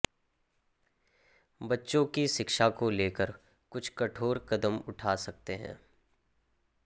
बच्चों की शिक्षा को लेकर कुछ कठोर कदम उठा सकते हैं